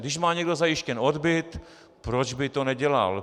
Když má někdo zajištěn odbyt, proč by to nedělal?